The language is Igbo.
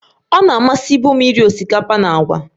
Ọ na-amasịbụ m iri osikapa na agwa